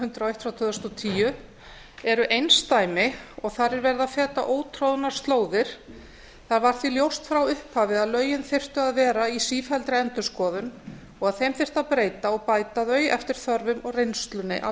hundrað og eitt tvö þúsund og tíu eru einsdæmi og þar er verið að feta ótroðnar slóðir það var því ljóst frá upphafi að lögin þyrftu að vera í sífelldri endurskoðun og að þeim þyrfti að breyta og bæta þau eftir þörfum og reynslunni af